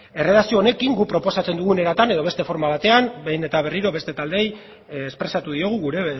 erredakzio honekin guk proposatzen dugun eratan edo beste forma batean behin eta berriro beste taldeei espresatu diogu gure